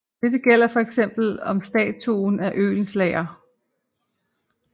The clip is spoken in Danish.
Det gælder for eksempel om statuen af Oehlenschlager